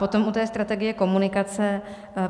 Potom u té strategie komunikace.